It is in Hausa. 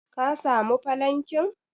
ka samu falankin?